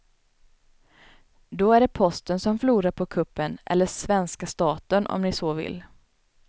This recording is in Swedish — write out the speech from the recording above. Då är det posten som förlorar på kuppen eller svenska staten om ni så vill.